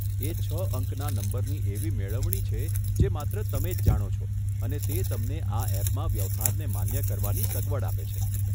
એ છ અંકના નંબરની એવી મેળવણી છે, જે માત્ર તમે જ જાણો છો અને તે તમને આ એપમાં વ્યવહારને માન્ય કરવાની સગવડ આપે છે.